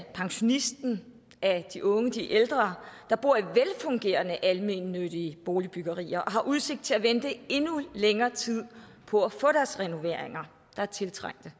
pensionisterne af de unge af de ældre der bor i velfungerende almennyttige boligbyggerier og har udsigt til at vente endnu længere tid på at få deres renoveringer der er tiltrængte